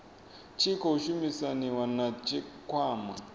tshi khou shumisaniwa na tshikwama